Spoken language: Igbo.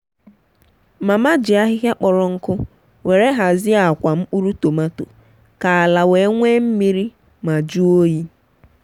mama ji ahịhịa kpọrọ nkụ were hazie akwà mkpụrụ tômaatò ka ala wee nwee mmiri ma jùo ọ́yị.